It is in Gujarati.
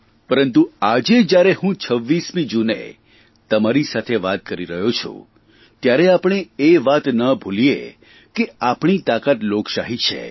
પરંતુ આજે જયારે હું 26મી જૂને તમારી સાથે વાત કરી રહ્યો છું ત્યારે આપણે એ વાત ન ભૂલીએ કે આપણી તાકાત લોકશાહી છે